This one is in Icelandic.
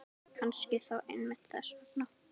Kannski þó einmitt þess vegna.